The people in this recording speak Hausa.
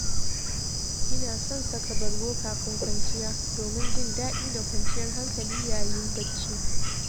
Ina son saka bargo kafin kwanciya domin jin daɗi da kwanciyar hankali yayin bacci.